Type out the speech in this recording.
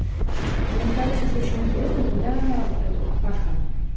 мне стало сейчас очень интересно когда этот пасха